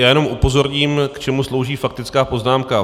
Já jen upozorním, k čemu slouží faktická poznámka.